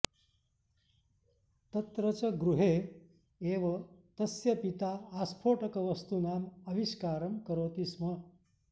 तत्र च गृहॆ एव तस्य पिता आस्फॊटकवस्तुनाम् आविष्कारं करॊति स्म